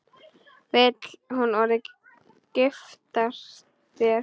Vill hún orðið giftast þér?